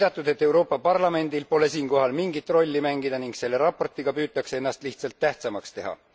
On viidatud, et Euroopa Parlamendil pole siinkohal mingit rolli mängida ning selle raportiga püütakse ennast lihtsalt tähtsamaks teha.